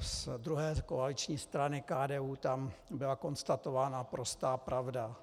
z druhé koaliční strany, KDU, tam byla konstatována prostá pravda.